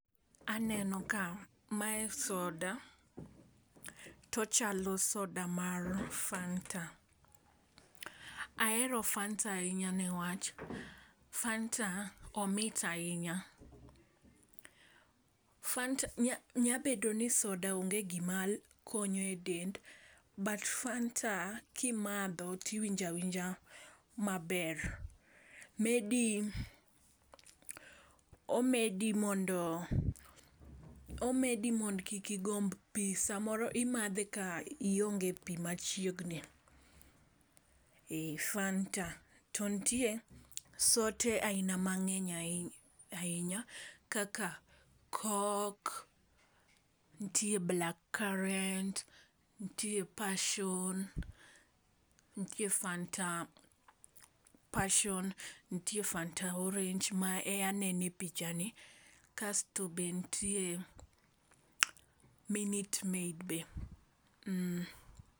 Aneno ka mae soda, tochalo soda mar fanta. Ahero fanta ahinya newach fanta omit ahinya. Fanta nya nya bedo ni soda onge gima konyo e dend but fanta kimadho tiwinja winja maber maybe omedi mondo kik igomb pii, samoro imadhe ka ionge pii machiegni ,fanta. To ntie sote aina mangeny ahinya ahinya kaka kok, ntie black current , ntie passion , ntie fanta passion, ntie fanta orange mae anene picha ni kasto be ntie minute maid be.